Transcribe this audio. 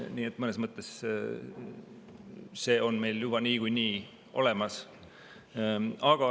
Nii et mõnes mõttes see on meil juba niikuinii olemas.